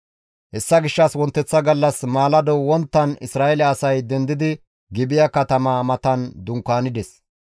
Hessa gishshas wonteththa gallas maalado wonttara Isra7eele asay dendidi Gibi7a katamaa matan dunkaanides.